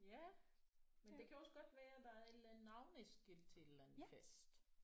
Ja men det kan også godt være der er et eller andet navneskilt til et eller andet fest